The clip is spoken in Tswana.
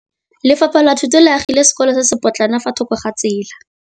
Lefapha la Thuto le agile sekôlô se se pôtlana fa thoko ga tsela.